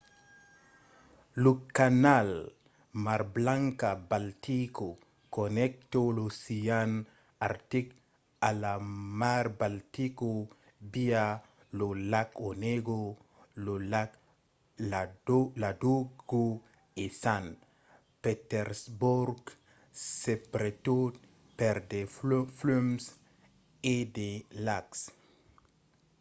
lo canal mar blanca–baltica connècta l’ocean artic a la mar baltica via lo lac onega lo lac ladoga e sant petersborg subretot per de flums e de lacs